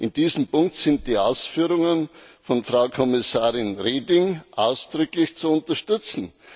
In diesem Punkt sind die Ausführungen von Frau Kommissarin Reding ausdrücklich zu unterstützen.